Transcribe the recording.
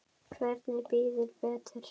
Hver bíður betur?